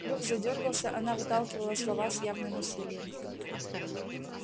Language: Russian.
клюв задёргался она выталкивала слова с явным усилием